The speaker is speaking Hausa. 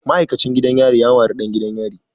Ma'aikacin gidan yari ya mari ɗan gidan yari.